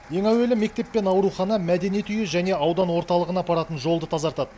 ең әуелі мектеп пен аурухана мәдениет үйі және аудан орталығына апаратын жолды тазартады